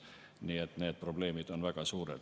Nii et need probleemid on väga suured.